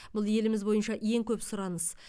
бұл еліміз бойынша ең көп сұраныс